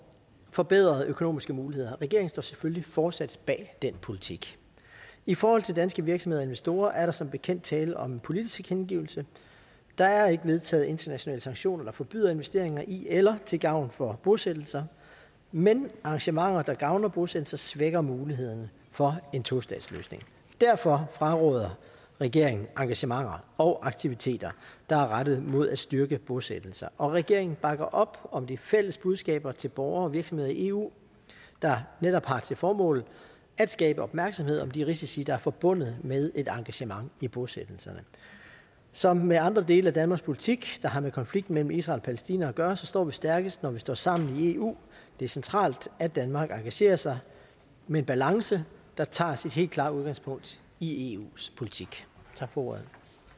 forbedrede økonomiske muligheder regeringen står selvfølgelig fortsat bag den politik i forhold til danske virksomheder og investorer er der som bekendt tale om en politisk tilkendegivelse der er ikke vedtaget internationale sanktioner der forbyder investeringer i eller til gavn for bosættelser men engagementer der gavner bosættelser svækker muligheden for en tostatsløsning derfor fraråder regeringen engagementer og aktiviteter der er rettet mod at styrke bosættelser og regeringen bakker op om de fælles budskaber til borgere og virksomheder i eu der netop har til formål at skabe opmærksomhed om de risici der er forbundet med et engagement i bosættelserne som med andre dele af danmarks politik der har med konflikten mellem israel og palæstina at gøre så står vi stærkest når vi står sammen i eu det er centralt at danmark engagerer sig med en balance der tager sit helt klare udgangspunkt i eus politik tak for ordet